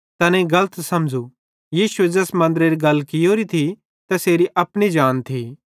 तैनेईं गलत समझ़ू यीशुए ज़ैस मन्दरेरी गल कियोरी थी तै तैसेरी अपनी जान थी